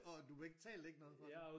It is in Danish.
Og du betalte ikke noget for det?